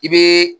I bɛ